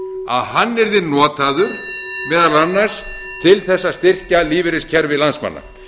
að hann yrði notaður meðal annars til að styrkja lífeyriskerfi landsmanna